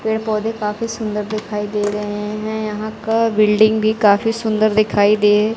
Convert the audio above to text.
पेड़ पौधे काफी सुंदर दिखाई दे रहे हैं यहां का बिल्डिंग भी काफी सुंदर दिखाई दे--